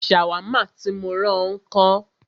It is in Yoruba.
Ṣàwámà tí mó rán ọ ńkọ́?